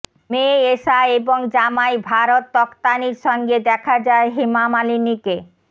মেয়ে এষা এবং জামাই ভারত তখতানির সঙ্গে দেখা যায় হেমা মালিনীকে